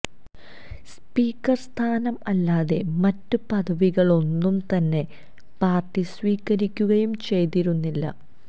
speaker സ്ഥാനം അല്ലാതെ മറ്റ് പദവികളൊന്നും തന്നെ പാർട്ടി സ്വീകരിക്കുകയും ചെയ്തിരുന്നില്ല